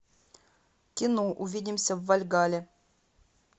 кино увидимся в вальгалле